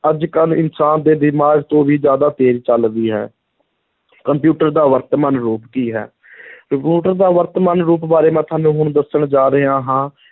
ਅੱਜ ਕੱਲ੍ਹ ਇਨਸਾਨ ਦੇ ਦਿਮਾਗ ਤੋਂ ਵੀ ਜ਼ਿਆਦਾ ਤੇਜ਼ ਚੱਲਦੀ ਹੈ ਕੰਪਿਊਟਰ ਦਾ ਵਰਤਮਾਨ ਰੂਪ ਕੀ ਹੈ ਕੰਪਿਊਟਰ ਦਾ ਵਰਤਮਾਨ ਰੂਪ ਬਾਰੇ ਮੈਂ ਤੁਹਾਨੂੰ ਹੁਣ ਦੱਸਣ ਜਾ ਰਿਹਾ ਹਾਂ,